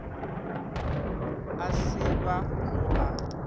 a se ba go a